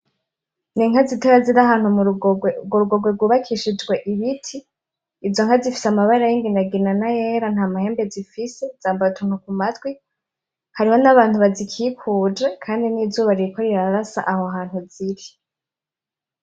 N'inka zitoya ziri ahantu m'urugorwe, urwo rugorwe rwubakishijwe ibiti, izo nka zifise amabara y'imigina nayera ntamahembe zifise zambaye utuntu kumatwi, hariho nabantu bazikikuje kandi nizuba ririko rirarasa ahantu ziri.